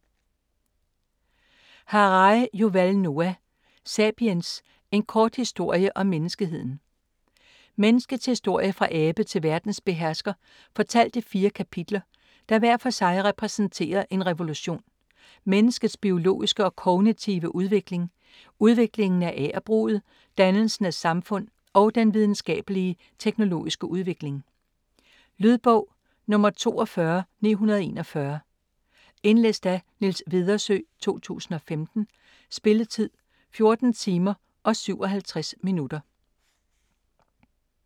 Harari, Yuval Noah: Sapiens: en kort historie om menneskeheden Menneskets historie fra abe til verdenshersker fortalt i fire kapitler der hver for sig repræsenterer en revolution: menneskets biologiske og kognitive udvikling, udviklingen af agerbruget, dannelsen af samfund og den videnskabelige/teknologiske udvikling. Lydbog 42941 Indlæst af Niels Vedersø, 2015. Spilletid: 14 timer, 57 minutter.